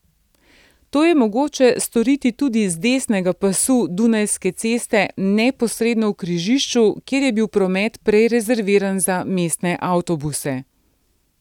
To je mogoče storiti tudi z desnega pasu Dunajske ceste neposredno v križišču, kjer je bil promet prej rezerviran za mestne avtobuse.